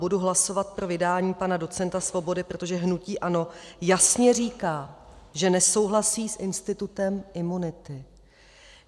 Budu hlasovat pro vydání pana docenta Svobody, protože hnutí ANO jasně říká, že nesouhlasí s institutem imunity.